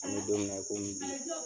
An bɛ don min na i komi bi.